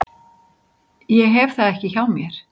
Ég hef það ekki hjá mér.